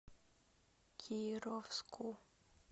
кировску